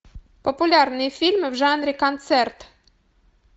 популярные фильмы в жанре концерт